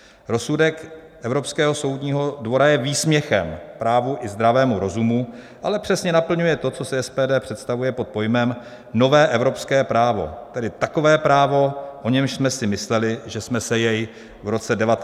Rozsudek Evropského soudního dvora je výsměchem právu i zdravému rozumu, ale přesně naplňuje to, co si SPD představuje pod pojmem nové evropské právo, tedy takové právo, o němž jsme si mysleli, že jsme se jej v roce 1989 zbavili.